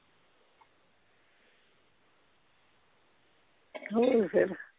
ਹੋਰ ਫੇਰ